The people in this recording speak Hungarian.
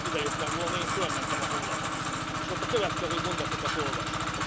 Én ma, mielőtt idejöttem volna, felmentem a honlapra, és ott a következő mondatokat olvastam.